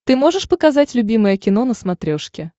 ты можешь показать любимое кино на смотрешке